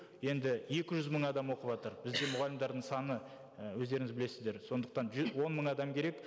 енді екі жүз мың адам оқыватыр бізде мұғалімдердің саны і өздеріңіз білесіздер сондықтан он мың адам керек